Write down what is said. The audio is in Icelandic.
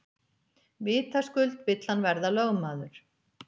Vitaskuld vill hann verða lögmaður.